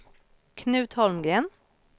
Knut Holmgren